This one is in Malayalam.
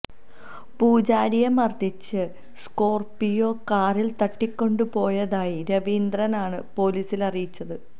പൂജാരിയെ മർദ്ദിച്ച് സ്കോർപ്പിയോ കാറിൽ തട്ടിക്കൊണ്ടു പോയതായി രവീന്ദ്രനാണ് പൊലീസിൽ അറിയിച്ചത്